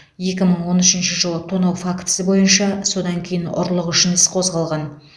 екі мың он үшінші жылы тонау фактісі бойынша содан кейін ұрлық үшін іс қозғалған